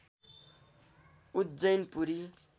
Ujjain Puri